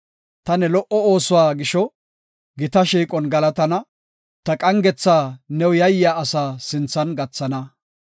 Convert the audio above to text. Ta ne lo77o oosuwa gisho gita shiiqon galatana; ta qangetha new yayiya asaa sinthan gathana.